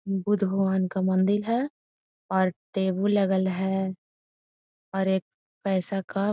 बुध भगवान का मंदिर है और टेबल लगल है और एक पैसा का --